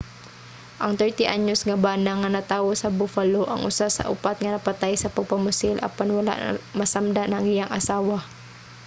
ang 30 anyos nga bana nga natawo sa buffalo ang usa sa upat nga napatay sa pagpamusil apan wala masamdan ang iyang asawa